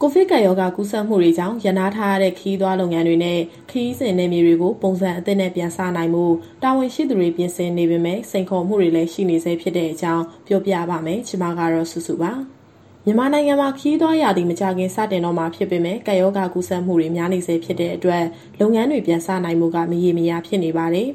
ကိုဗစ်ကပ်ရောဂါ ကူးစက်မှုတွေကြောင့် ရပ်နားထားရတဲ့ ခရီးသွားလုပ်ငန်းတွေနဲ့ ခရီးစဉ်နယ်မြေတွေကို ပုံစံအသစ်နဲ့ ပြန်စနိုင်ဖို့ တာဝန်ရှိသူတွေ ပြင်ဆင်နေပေမဲ့ စိန်ခေါ်မှုတွေလည်း ရှိနေဆဲဖြစ်တဲ့အကြောင်း ပြောပြပါမယ်။ ဒီသတင်းကို ဗွီအိုအေမြန်မာပိုင်း သတင်းထောက် မစုစုက တင်ဆက်ပေးမှာပါ။ မြန်မာနိုင်ငံမှာ ခရီးသွားရာသီ မကြာခင် စတော့မှာ ဖြစ်ပေမဲ့ ကပ်ရောဂါကူးစက်မှုတွေ များနေဆဲ ဖြစ်တဲ့အတွက် လုပ်ငန်းတွေ ပြန်စနိုင်ဖို့က မရေမရာ ဖြစ်နေပါတယ်။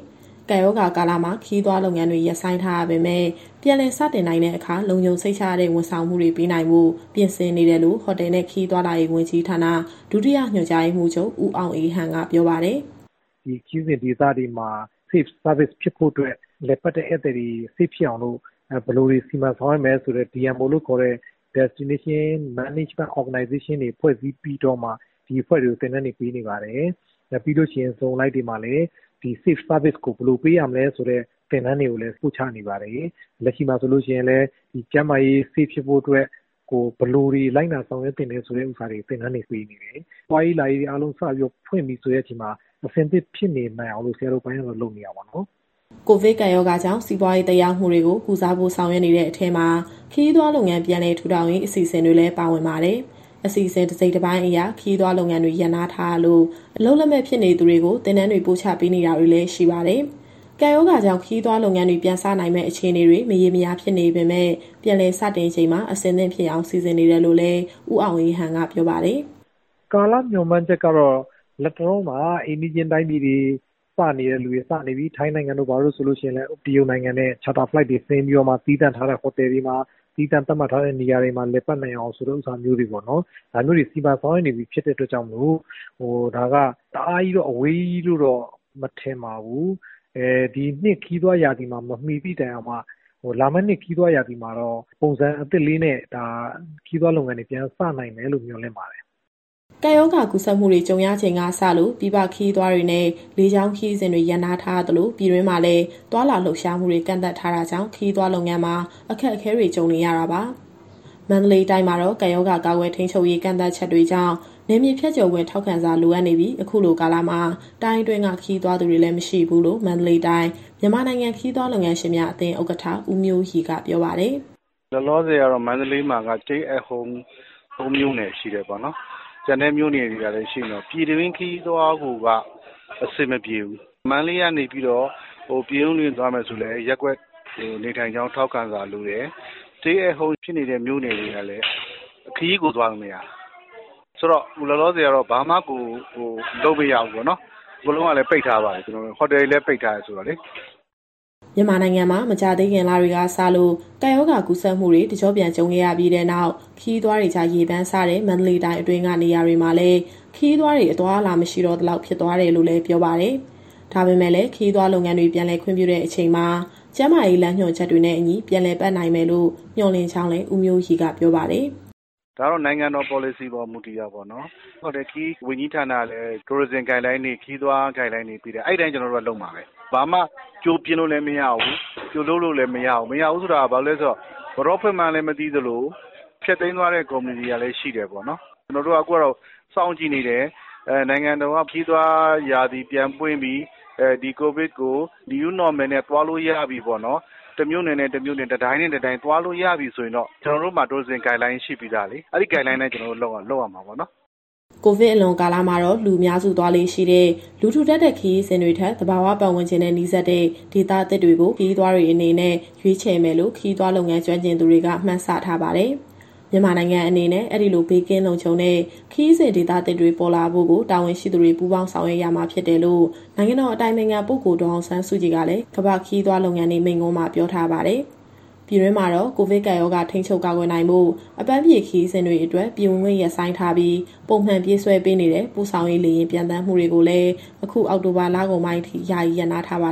ကပ်ရောဂါကာလမှာ ခရီးသွားလုပ်ငန်းတွေ ရပ်ဆိုင်းထားရပေမဲ့ ပြန်လည်စတင်နိုင်တဲ့အခါ လုံခြုံစိတ်ချရတဲ့ ဝန်ဆောင်မှုတွေ ပေးနိုင်ဖို့ ပြင်ဆင်နေတယ်လို့ ဟိုတယ်နဲ့ ခရီးသွားလာရေး ဝန်ကြီးဌာန၊ ဒုတိယညွှန်ကြားရေးမှူးချုပ် ဦးအောင်အေးဟန် ကပြောပါတယ်။ “ဒီခရီးစဉ်ဒေသတွေမှာ Safe Service ဖြစ်ဖို့အတွက် လည်ပတ်တဲ့ဧည့်သည်တွေ Safe ဖြစ်အောင်လို့ ဘယ်လိုတွေ စီမံဆောင်ရွက်မယ်ဆိုတဲ့ DMO လို့ခေါ်တဲ့ Destination Management Organization တွေဖွဲ့စည်းပြီးတော့မှ ဒီအဖွဲ့တွေကို သင်တန်းတွေပေးနေပါတယ်။ ပြီးလို့ရှိရင် Zone အလိုက်တွေမှာလည်း ဒီ Safe Service ကို ဘယ်လိုပေးရမလဲဆိုတဲ့ သင်တန်းတွေကိုလည်း ပို့ချနေပါတယ်။ လက်ရှိမှာဆိုရင်လည်း ကျန်းမာရေး Safe ဖြစ်ဖို့အတွက် ဘယ်လိုတွေ လိုက်နာ ဆောင်ရွက်သင့်တယ်ဆိုတာတွေ သင်တန်းပေးနေတယ်။ သွားရေးလာရေး အားလုံးစပြီးတော့ ဖွင့်ပြီဆိုတဲ့အချိန်မှာ အဆင်သင့်ဖြစ်နေနိုင်အောင်လို့ ဆရာတို့အပိုင်းကတော့ လုပ်နေတာပေါ့နော်။” ကိုဗစ်ကပ်ရောဂါကြောင့် စီးပွားရေးသက်ရောက်မှုတွေကို ကုစားဖို့ဆောင်ရွက်နေတဲ့ အထဲမှာ ခရီးသွားလုပ်ငန်း ပြန်လည်ထူထောင်ရေး အစီအစဉ်တွေလည်း ပါဝင်ပါတယ်။ အစီအစဉ်တစိတ်တပိုင်းအရ ခရီးသွားလုပ်ငန်းတွေ ရပ်နားထားရလို့ အလုပ်လက်မဲ့ဖြစ်နေသူတွေကို သင်တန်းတွေ ပို့ချပေးတာတွေလည်း ရှိပါတယ်။ ကပ်ရောဂါကြောင့် ခရီးသွားလုပ်ငန်းတွေ ပြန်စနိုင်မယ့် အခြေအနေတွေ မရေမရာ ဖြစ်နေပေမဲ့ ပြန်လည်စတင်ချိန်မှာ အသင့်ဖြစ်အောင် စီစဉ်နေတယ်လို့လည်း ဦးအောင်အေးဟန်က ပြောပါတယ်။ “ကာလမျှော်မှန်းချက်ကတော့ လတ်တလောမှာ အိမ်နီးချင်းတိုင်းပြည်တွေ စနေတဲ့သူတွေ စနေပြီ။ ထိုင်းနိုင်ငံတို့ ဘာတို့ ဆိုရင်လည်း တရုတ်နိုင်ငံနဲ့ Charter Flight တွေဆင်းပြီးတော့မှ သီးသန့်ထားတဲ့ ဟိုတယ်တွေမှာ၊ သီးသန့်သတ်မှတ်ထားတဲ့ နေရာတွေမှာ လည်ပတ်နိုင်အောင် ဆိုတာမျိုးတွေ စီမံဆောင်ရွက်နေပြီဖြစ်လို့ ဒါကတအားအဝေးကြီးလို့တော့ မထင်ပါဘူး။ ဒီနှစ်ခရီးသွားရာသီမှာ မမီသည့်တိုင်အောင်မှ လာမယ့်နှစ်ခရီးသွားရာသီမှာတော့ ပုံစံအသစ်လေးနဲ့ ခရီးသွားလုပ်ငန်းတွေ ပြန်စနိုင်မယ်လို့ မျှော်လင့်ပါတယ်။” ကပ်ရောဂါ ကူးစက်မှုတွေ ကြုံရချိန်ကစလို့ ပြည်ပခရီးသွားတွေနဲ့ လေကြောင်းခရီးစဉ်တွေ ရပ်နားထားရသလို ပြည်တွင်းမှာလည်း သွားလာ လှုပ်ရှားမှုတွေ ကန့်သတ်ထားတာကြောင့် ခရီးသွားလုပ်ငန်းမှာ အခက်အခဲတွေ ကြုံနေရတာပါ။ မန္တလေးတိုင်းမှာတော့ ကပ်ရောဂါကာကွယ်၊ ထိန်းချုပ်ရေး ကန့်သတ်ချက်တွေကြောင့် နယ်မြေဖြတ်ကျော်ခွင့် ထောက်ခံစာလိုအပ်နေပြီး၊ အခုလိုကာလမှာ တိုင်းအတွင်းက ခရီးသွားသူတွေလည်း မရှိဘူးလို့ မန္တလေးတိုင်း၊ မြန်မာနိုင်ငံ ခရီးသွားလုပ်ငန်းရှင်များ အသင်းဥက္ကဋ္ဌ ဦးမျိုးရီက ပြောပါတယ်။ “လောလောဆယ်ကတော့ မန္တလေးမှာက Stay at Home ၃ မြို့နယ်ရှိတယ်ပေါ့နော်။ ကျန်တဲ့မြို့နယ်တွေကလည်း ရှိနေတော့ ပြည်တွင်းခရီးသွားကိုက အဆင်မပြေဘူး။ မန္တလေးကနေ ပြင်ဦးလွင်သွားမယ်ဆိုလည်း ရပ်ကွက်နေထိုင်ကြောင်း ထောက်ခံစာလိုတယ်။ Stay at Home ဖြစ်နေတဲ့ မြို့နယ်တွေကလည်း ခရီးကိုသွားလို့မရတာ။ ဆိုတော့ အခုလောလောဆယ်ကတော့ ဘာမှကိုလုပ်မရဘူးပေါ့နော်။ အကုန်လုံးကလည်း ပိတ်ထားပါတယ်၊ ဟိုတယ်တွေကလည်း ပိတ်ထားတယ်ဆိုတော့လေ။” မြန်မာနိုင်ငံမှာ မကြာသေးခင်လတွေကစလို့ ကပ်ရောဂါကူးစက်မှုတွေ တကျော့ပြန် ကြုံခဲ့ရပြီးနောက် ခရီးသွားတွေကြား ရေပမ်းစားတဲ့ မန္တလေးတိုင်းအတွင်းက နေရာတွေမှာလည်း ခရီးသွားတွေ အသွားအလာ မရှိတော့သလောက် ဖြစ်သွားတယ်လို့လည်း ပြောပါတယ်။ ဒါပေမဲ့လည်း ခရီးသွားလုပ်ငန်းတွေ ပြန်လုပ်ခွင့်ပြုတဲ့ အချိန်မှာ ကျန်းမာရေးလမ်းညွှန်ချက်တွေနဲ့အညီ ပြန်လည်ပတ်နိုင်မယ်လို့ မျှော်လင့်ကြောင်းလည်း ဦးမျိုးရီက ပြောပါတယ်။ “ဒါကတော့ နိုင်ငံတော်ပေါ်လစီပေါ် မူတည်တာပေါ့နော်။ ဟိုတယ်၊ ခရီးဝန်ကြီးဌာနကလည်း ခရီးသွားလမ်းညွှန်ချက်တွေ ပေးတယ်။ အဲဒီအတိုင်း ကျနော်တို့ကလုပ်ရမှာပဲ။ ဘာမှကြိုပြင်လို့လည်း မရဘူး၊ ကြိုလုပ်လို့လည်း မရဘူး။ မရဘူးဆိုတာ ဘာဖြစ်လို့လဲဆိုတော့ ဘယ်တော့ဖွင့်မှန်းလည်း မသိသလို၊ ဖျက်သိမ်းသွားတဲ့ ကုမ္ပဏီတွေကလည်း ရှိတယ်ပေါ့နော်။ ကျနော်တို့က အခုကတော့ စောင့်ကြည့်နေတယ်။ နိုင်ငံတော်က ခရီးသွားရာသီ ပြန်ပွင့်ပြီ၊ ဒီကိုဗစ်ကို New Normal နဲ့ သွားလို့ရပြီပေါ့နော်၊ တမြို့နယ်နဲ့ တမြို့နယ်၊ တတိုင်းနဲ့ တတိုင်းသွားလို့ရပြီ ဆိုရင်တော့ ကျနော်တို့မှာ Tourism Guideline ရှိပြီးသားလေ။ အဲဒီ Guideline အတိုင်း ကျနော်တို့ လုပ်ရမှာပေါ့နော်။” ကိုဗစ်အလွန်ကာလမှာတော့ လူအများစုသွားလေ့ရှိတဲ့ လူထူထပ်တဲ့ခရီးစဉ်တွေထက် သဘာဝပတ်ဝန်းကျင်နဲ့ နီးစပ်တဲ့ဒေသသစ်တွေကို ခရီးသွားတွေအနေနဲ့ ရွေးချယ်မယ်လို့ ခရီးသွားလုပ်ငန်း ကျွမ်းကျင်သူတွေက မှန်းဆထားပါတယ်။ မြန်မာနိုင်ငံအနေနဲ့ အဲဒီလိုဘေးကင်းလုံခြုံတဲ့ ခရီးစဉ်ဒေသသစ်တွေ ပေါ်လာဖို့ကို တာဝန်ရှိသူတွေ ပူးပေါင်းဆောင်ရွက်ရမှာဖြစ်တယ်လို့ နိုင်ငံတော်အတိုင်ပင်ခံပုဂ္ဂိုလ် ဒေါ်အောင်ဆန်းစုကြည်ကလည်း ကမ္ဘာ့ခရီးသွားလုပ်ငန်းနေ့ မိန့်ခွန်းမှာပြောထားပါတယ်။ ပြည်တွင်းမှာတော့ ကိုဗစ်ကပ်ရောဂါ ထိန်းချုပ်၊ ကာကွယ်နိုင်ဖို့ အပန်းဖြေခရီးစဉ်တွေအတွက် ပြည်ဝင်ခွင့်ရပ်ဆိုင်းထားပြီး၊ ပုံမှန်ပြေးဆွဲပေးနေတဲ့ ပို့ဆောင်ရေးလေယာဉ် ပျံသန်းမှုတွေကိုလည်း အခုအောက်တိုဘာ လကုန်ပိုင်းအထိ ယာယီရပ်နားထားပါ